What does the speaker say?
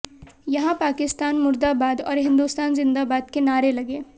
यहां पाकिस्तान मुर्दाबाद और हिंदुस्तान ज़िंदाबाद के नारे लगे